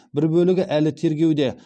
бір бөлігі әлі тергеуде